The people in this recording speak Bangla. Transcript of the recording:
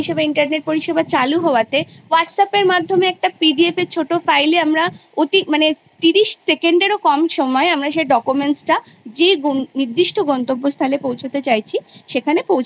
আমাদের সময় Pass Fail বলে একটা জিনিস ছিল একটা Particular শতাংশের ওপরে আমাদের মূল্যায়ন পদ্ধতি নির্ভর করতো সেটা আমাদের অতিক্রম না করলে আমরা পরবর্তী Class এ উত্তীর্ণ হতে পারতাম না